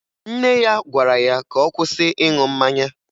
Nne ya gwara ya ka ọ kwụsị ịṅụ mmanya